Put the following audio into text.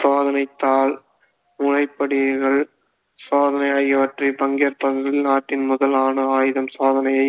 சோதனைத் தாள் சோதனை ஆகியவற்றில் பங்கேற் நாட்டின் முதல் அணு ஆயுதம் சோதனையை